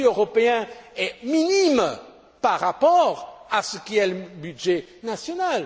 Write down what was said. Le budget européen est infime par rapport à ce que sont les budgets nationaux.